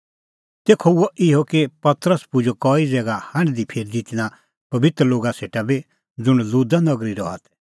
तेखअ हुअ इहअ कि पतरस पुजअ कई ज़ैगा हांढदीफिरदी तिन्नां पबित्र लोगा सेटा बी ज़ुंण लुदा नगरी रहा तै